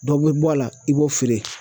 Dɔ bɛ bɔ a la i b'o feere